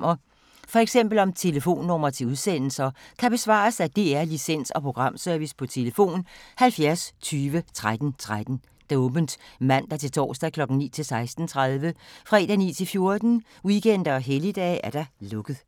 Spørgsmål om Danmarks Radios programmer, f.eks. om telefonnumre til udsendelser, kan besvares af DR Licens- og Programservice: tlf. 70 20 13 13, åbent mandag-torsdag 9.00-16.30, fredag 9.00-14.00, weekender og helligdage: lukket.